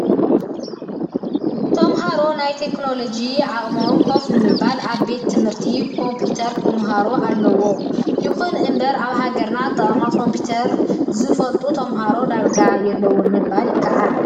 ተምሃሮ ናይ ቴክኖሎጂ ዓቅሞም ከፍ ንምባል ኣብ ቤት ትምህርታት ኮምፒተራት ክህልዎም ኣለዎ። ይኹን እምበር ኣብ ሃገርና ኣጠቃቅማ ኮምፒተር ዝፈልጡ ተምሃሮ ዳርጋ የለውን ምባል ይካኣል።